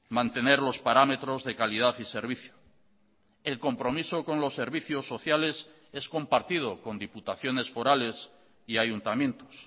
mantener los parámetros de calidad y servicio el compromiso con los servicios sociales es compartido con diputaciones forales y ayuntamientos